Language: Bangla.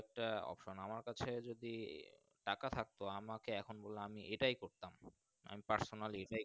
একটা Option আমার কাছে যদি টাকা থাকতো আমাকে এখন বোলো আমি এটাই করতাম আমি Personally